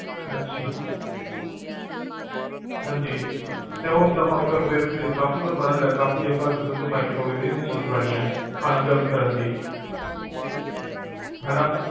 ਹਾਂਜੀ, ਤੇ ਹੁਣ microwave ਦੀ ਵੀ ਜਰੂਰਤ ਪੈਣੀ ਆ, ਖਾਣਾ ਗਰਮ ਕਰਨ ਲਈ